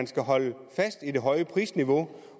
skal holdes fast i det høje prisniveau